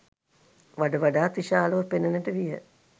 වඩ වඩාත් විශාලව පෙනෙන්නට විය.